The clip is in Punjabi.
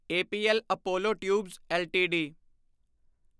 APL Apollo tubes LTD